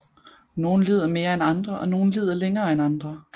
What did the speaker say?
Nogle lider mere end andre og nogle lider længere end andre